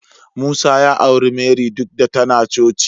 Musa ya auri Marry duk da tana coci.